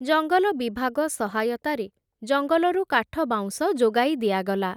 ଜଙ୍ଗଲ ବିଭାଗ ସହାୟତାରେ ଜଙ୍ଗଲରୁ କାଠ ବାଉଁଶ ଯୋଗାଇ ଦିଆଗଲା ।